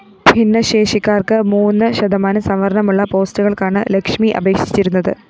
ഭിന്നശേഷിക്കാര്‍ക്ക് മൂന്ന് ശതമാനം സംവരണമുളള പോസ്റ്റുകള്‍ക്കാണ് ലക്ഷ്മി അപേക്ഷിച്ചിരുന്നത്